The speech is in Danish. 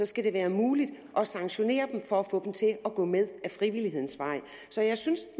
skal det være muligt at sanktionere dem for at få dem til at gå med ad frivillighedens vej så jeg synes